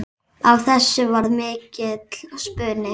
Af þessu varð mikill spuni.